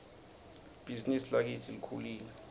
libhizinisi lakitsi lkhulile